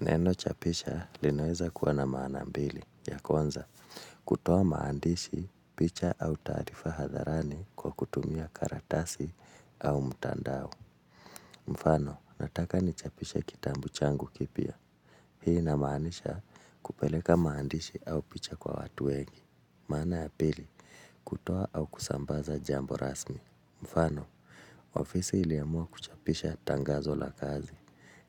Neno chapisha linaweza kuwana maana mbili. Ya kuanza, kutoa maandishi, picha au tarifa hadharani kwa kutumia karatasi au mutandao. Mfano, nataka nichapishe kitambu changu kipia. Hii inamaanisha kupeleka maandishi au picha kwa watu wengi. Maana ya pili, kutoa au kusambaza jambo rasmi. Mfano, ofisi iliamua kuchapisha tangazo la kazi.